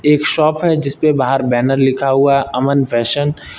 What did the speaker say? एक शॉप है जिसपे बाहर बैनर लिखा हुआ अमन फैशन --